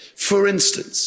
For instance.